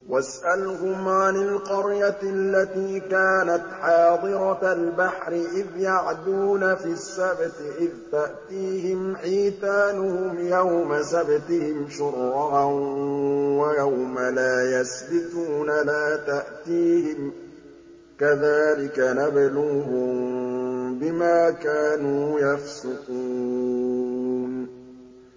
وَاسْأَلْهُمْ عَنِ الْقَرْيَةِ الَّتِي كَانَتْ حَاضِرَةَ الْبَحْرِ إِذْ يَعْدُونَ فِي السَّبْتِ إِذْ تَأْتِيهِمْ حِيتَانُهُمْ يَوْمَ سَبْتِهِمْ شُرَّعًا وَيَوْمَ لَا يَسْبِتُونَ ۙ لَا تَأْتِيهِمْ ۚ كَذَٰلِكَ نَبْلُوهُم بِمَا كَانُوا يَفْسُقُونَ